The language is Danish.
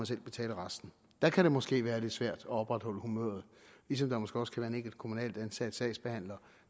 selv betale resten der kan det måske være lidt svært at opretholde humøret ligesom der måske også kan være en enkelt kommunalt ansat sagsbehandler